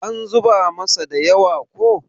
an zuba masa da yawa ko?